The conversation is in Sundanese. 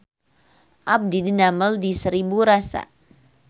Abdi didamel di Seribu Rasa